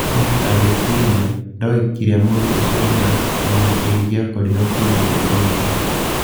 Mũthamaki agĩciria, ndoĩ kĩrĩa mũndũ ũcio endaga na nĩĩngia korirwo kĩndo o giothe.